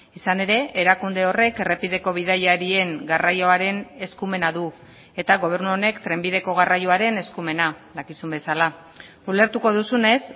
izan ere erakunde horrek errepideko bidaiarien garraioaren eskumena du eta gobernu honek trenbideko garraioaren eskumena dakizun bezala ulertuko duzunez